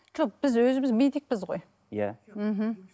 жоқ біз өзіміз медикпіз ғой иә мхм